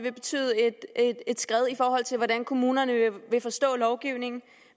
vil betyde et skred i forhold til hvordan kommunerne vil forstå lovgivningen